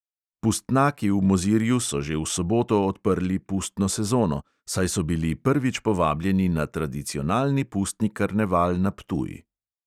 Pustnaki v mozirju so že v soboto odprli pustno sezono, saj so bili prvič povabljeni na tradicionalni pustni karneval na ptuj.